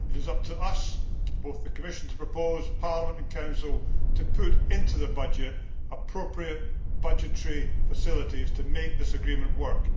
It is up to us both the Commission to propose, and Parliament and Council to put into the budget appropriate budgetary facilities to make this agreement work.